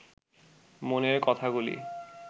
মনের কথাগুলি